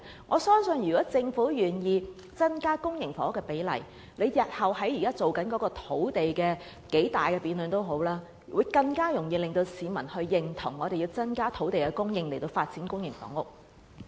我相信政府若願意增加公營房屋的供應比例，日後無論要進行多麼大型的土地供應辯論，均可讓市民更加認同有需要增加土地供應以發展公營房屋。